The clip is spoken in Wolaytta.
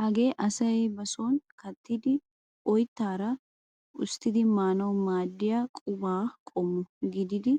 Hagee asay ba sooni kattidi oyttaara usttidi maanawu maaddiya qumaa qommo gididi